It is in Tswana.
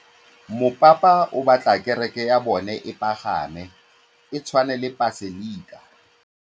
Mopapa o batla kereke ya bone e pagame, e tshwane le paselika.